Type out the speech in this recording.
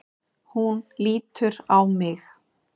Hún lítur á mig.